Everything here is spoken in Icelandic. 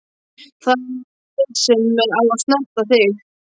Það er ég sem á að snerta þig.